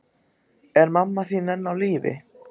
Er mamma þín enn á lífi?